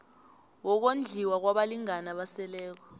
wokondliwa kwabalingani abaseleko